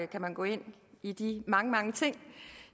kan man gå ind i de mange mange ting